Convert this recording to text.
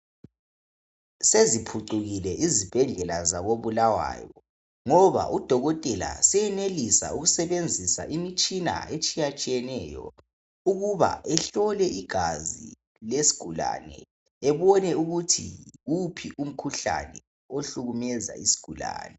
Seziphucukile izibhedlela zako Bulawayo ngoba udokotela seyenelisa ukusebenzisa imitshina etshiyatshiyeneyo ukuba ehlole igazi lesigulane ebone ukuthi yiwuphi umkhuhlane ohlukumeza isigulane.